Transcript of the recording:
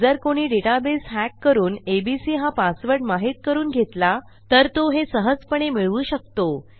जर कोणी डेटाबेस hackकरून एबीसी हा पासवर्ड माहित करून घेतला तर तो हे सहजपणे मिळवू शकतो